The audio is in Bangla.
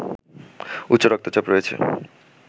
উচ্চ রক্তচাপ রয়েছে